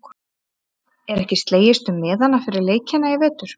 Er ekki slegist um miðana fyrir leikina í vetur?